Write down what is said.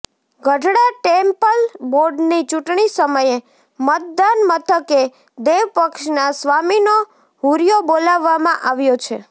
Gadhada temple બોર્ડની ચૂંટણી સમયે મતદાન મથકે દેવપક્ષના સ્વામીનો હુરિયો બોલાવવામાં આવ્યો છે